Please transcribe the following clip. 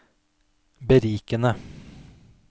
berikende